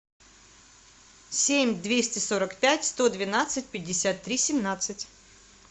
семь двести сорок пять сто двенадцать пятьдесят три семнадцать